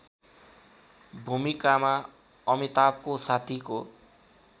भूमिकामा अमिताभको साथीको